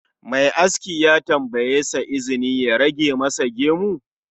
Mai aski ya tambayeshi izini ya rage masa gemu